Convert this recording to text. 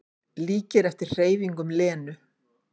Líkir eftir hreyfingum Lenu.